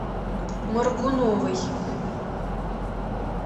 моргуновой